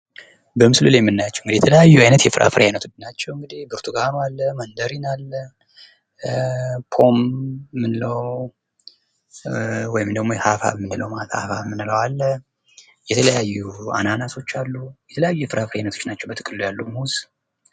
በምስሉ ላይ የምናያቸው የተለያዩ የፍራፍሬ አይነቶች ናችው ፤ ብርቱካን አለ፣ መንደሪን አለ፣ ሃብሃብ አለ የተለያዩ ናቸው አናናስ አሉ የተለያዩ የፍራፍሬ አይነቶች ናችው ማለት ነው ሙዝ።